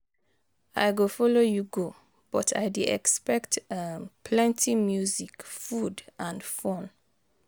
I go follow you go, but i dey expect um plenty music, food and fun.